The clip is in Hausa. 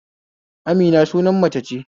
Amina suna mace ce